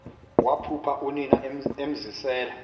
waphupha unina emzisela